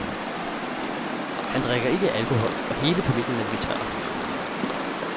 Han drikker ikke alkohol og hele familien er vegetarer.